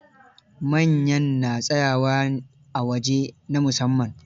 Manyan na tsayawa a waje na musamman.